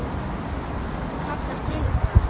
Hann kallar til okkar.